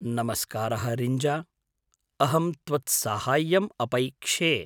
नमस्कारः रिञ्जा, अहं त्वत्साहाय्यम् अपैक्षे।